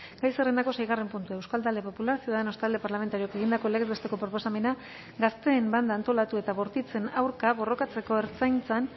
gai zerrendako seigarren puntua euskal talde popularra ciudadanos talde parlamentarioak egindako legez besteko proposamena gazteen banda antolatu eta bortitzen aurka borrokatzeko ertzaintzan